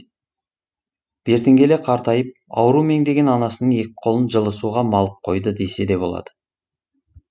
бертін келе қартайып ауру меңдеген анасының екі қолын жылы суға малып қойды десе де болады